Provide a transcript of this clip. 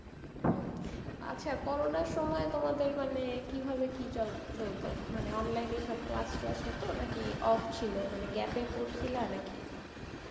হম আচ্ছা corona র সময় তোমাদের মানে কিভাবে কি চল~ চলতো, মানে online এই সব টলাস হত নাকি off ছিল মানে gap এ পর্সিলা না কি?